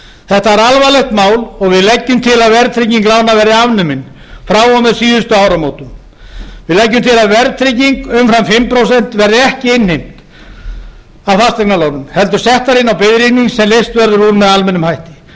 þetta er alvarlegt mál og við leggjum til að verðtrygging lána verði afnumin frá og með síðustu áramótum við leggjum til að verðtrygging umfram fimm prósent verði ekki innheimt af fasteignalánum heldur settar inn á biðreikning sem leyst verður úr með almennum hætti